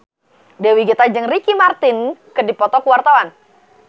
Dewi Gita jeung Ricky Martin keur dipoto ku wartawan